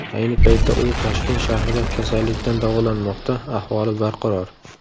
Ayni paytda u Toshkent shahrida kasallikdan davolanmoqda, ahvoli barqaror .